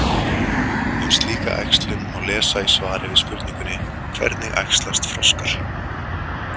Um slíka æxlun má lesa í svari við spurningunni: Hvernig æxlast froskar?